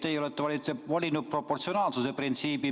Teie olete valinud proportsionaalsuse printsiibi.